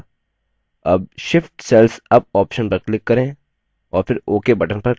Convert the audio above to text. अब shift cells up option पर click करें और फिर ok button पर click करें